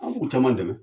An b'u caman dɛmɛ